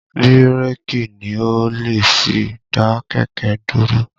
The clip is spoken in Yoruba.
Bírèkì ni o lè fi dá kẹ̀kẹ́ dúró